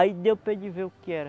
Aí deu para ele ver o que era.